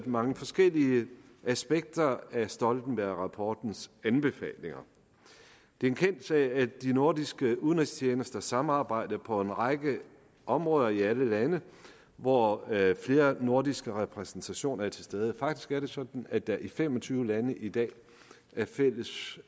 mange forskellige aspekter af stoltenbergrapportens anbefalinger det er en kendt sag at de nordiske udenrigstjenester samarbejder på en række områder i alle lande hvor flere nordiske repræsentationer er til stede faktisk er det sådan at der i fem og tyve lande i dag er fælles